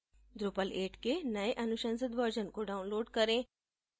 drupal 8 के नए अनुशंसित version को download करें